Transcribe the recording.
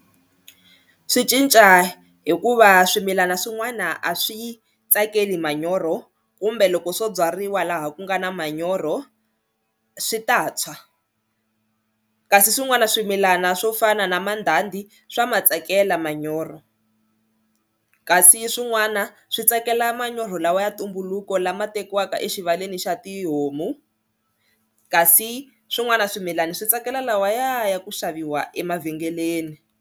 Swi cinca hikuva swimilana swin'wana a swi yi tsakeli manyoro kumbe loko swo byariwa laha ku nga na manyoro swi ta tshwa kasi swin'wana swimilana swo fana na mandhandhi swa matsakela manyoro, kasi swin'wana swi tsakela manyoro lawa ya ntumbuluko lama tekiwaka exivaleni xa tihomu kasi swin'wana swimilana swi tsakela lawaya ya ku xaviwa emavhengeleni.